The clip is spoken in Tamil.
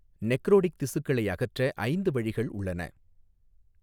நெக்ரோடிக் திசுக்களை அகற்ற ஐந்து வழிகள் உள்ளன.